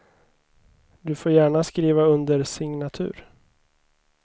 Du får gärna skriva under signatur.